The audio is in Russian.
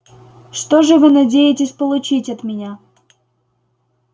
что же вы надеетесь получить от меня